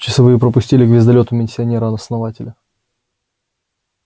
часовые пропустили к звездолёту миссионера основания